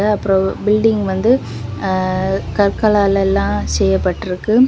அப்புறவு building வந்து ஆ கற்கலாளெல்லா செய்யப்பட்டுருக்கு.